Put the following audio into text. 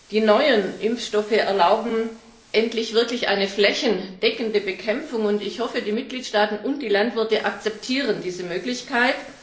Die neuen Impfstoffe erlauben endlich eine wirklich flächendeckende Bekämpfung, und ich hoffe, die Mitgliedstaaten und die Landwirte akzeptieren diese Möglichkeit.